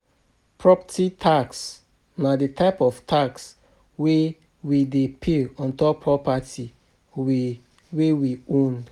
Property tax na di type of tax wey we dey pay ontop property wey we own